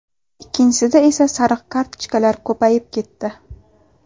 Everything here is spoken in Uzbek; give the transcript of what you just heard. Ikkinchisida esa sariq kartochkalar ko‘payib ketdi.